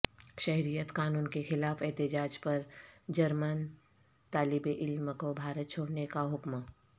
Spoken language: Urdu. شہریت قانون کے خلاف احتجاج پر جرمن طالبعلم کو بھارت چھوڑنے کا حکم